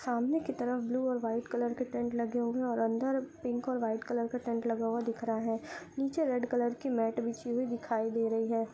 सामने की तरफ ब्लू और वाइट कलर का टेंट लगा हुआ है और अंदर पिंक और वाइट कलर का टेंट लगा हुआ दिख रहा है। नीचे रेड कलर की मैट बिछी हुई दिखाई दे रही है।